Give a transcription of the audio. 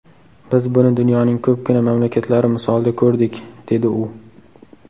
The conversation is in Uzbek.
Biz buni dunyoning ko‘pgina mamlakatlari misolida ko‘rdik”, dedi u.